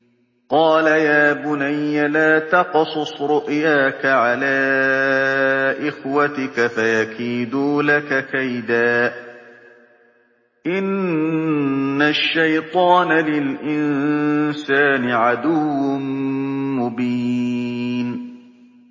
قَالَ يَا بُنَيَّ لَا تَقْصُصْ رُؤْيَاكَ عَلَىٰ إِخْوَتِكَ فَيَكِيدُوا لَكَ كَيْدًا ۖ إِنَّ الشَّيْطَانَ لِلْإِنسَانِ عَدُوٌّ مُّبِينٌ